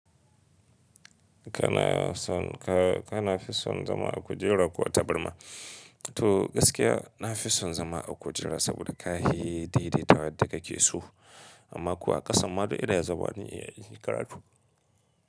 Kana son ka, kana fi son zama a kujera ko a tabarma? To gaskiya na fi son zama a kujera saboda kahi daidaitawar dake so. Amma kuwa ƙasan ma dai ina zama ni iya yin karatu.